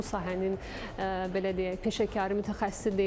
Bu sahənin belə deyək, peşəkarı, mütəxəssisi deyiləm.